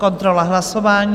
Kontrola hlasování...